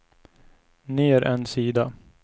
ner en sida